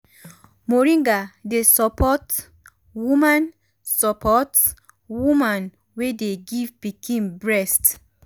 moringa dey support woman support woman wey dey give pikin breast.